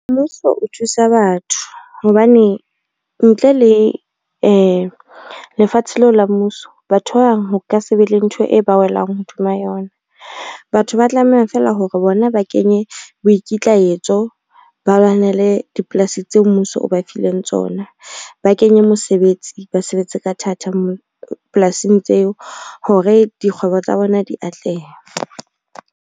Mmuso o thusa batho hobane ntle le lefatshe leo la mmuso, batho ba bang ho ka se be le ntho e ba welang hodima yona. Batho ba tlameha fela hore bona ba kenye boikitlahetso, ba lwanele dipolasi tseo mmuso o ba fileng tsona, ba kenye mosebetsi ba sebetse ka thata moo polasing tseo hore dikgwebo tsa bona di atleha.